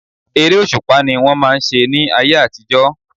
Eré òṣùpá ni wọ́n máà ń ṣe ní ayé àtijọ́.